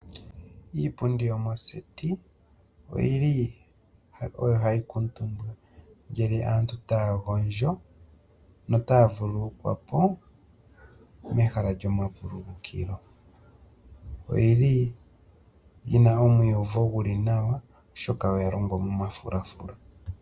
Iipundi yomoseti oyili oyo hayi kuutumbwa ngele aantu taya gondjo notaya vululukwa po, mehala lyomavululukilo. Oyili yina omaiuvo geli nawa, oshoka oya longwa momafulafula.